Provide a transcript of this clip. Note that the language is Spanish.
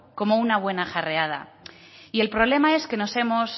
como una buena jarreada y el problema es que nos hemos